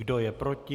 Kdo je proti?